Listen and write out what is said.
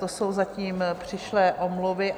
To jsou zatím přišlé omluvy.